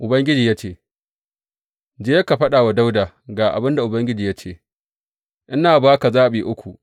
Ubangiji ya ce, Je ka faɗa wa Dawuda, Ga abin da Ubangiji ya ce, ina ba ka zaɓi uku.